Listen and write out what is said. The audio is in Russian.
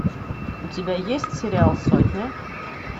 у тебя есть сериал сотня